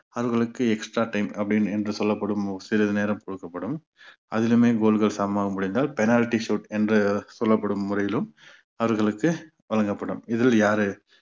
அவர்களுக்கு extra time அப்படின்னு என்று சொல்லப்படும் சிறிது நேரம் கொடுக்கப்படும் அதிலேயுமே goal கள் சமமாக முடிந்தால் penalty shoot என்று சொல்லப்படும் முறையிலும் அவர்களுக்கு வழங்கப்படும் இதில் யாரு